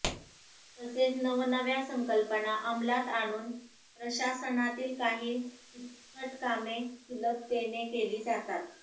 तसेच नवनव्या संकल्पना अंमलात आणून प्रशासनातील काही किचकट कामे सुलभतेने केली जातात